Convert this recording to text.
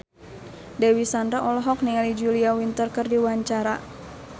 Dewi Sandra olohok ningali Julia Winter keur diwawancara